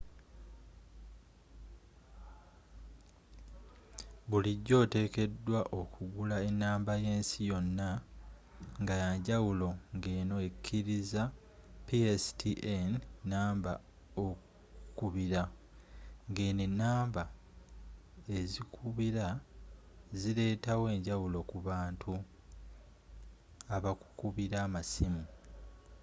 bulijjo otekedwa okugula enamba yensi yonna ngayanjawulo ngeno ekkiriza pstn namba okukubira.ngeno enamba ezikubira zileetawo enjawulo ku bantu abakukubira amasimu